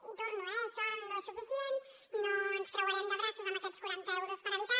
hi torno eh això no és suficient no ens creuarem de braços amb aquests quaranta euros per habitant